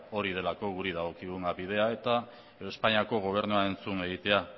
hori delako guri dagokion bidea eta espainiako gobernuaren entzun egitea